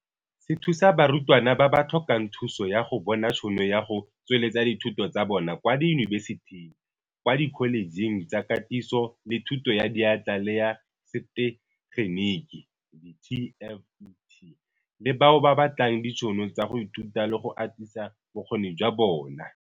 Se thusa barutwana ba ba tlhokang thuso ya go bona tshono ya go tsweletsa dithuto tsa bona kwa diyunibesiting, kwa dikholejeng tsa Katiso le Thuto ya Diatla le ya Setegeniki di-TVET le bao ba batlang ditšhono tsa go ithuta le go atisa bokgoni jwa bona.